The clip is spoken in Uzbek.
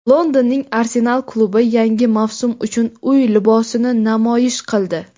Londonning "Arsenal" klubi yangi mavsum uchun uy libosini namoyish qildi.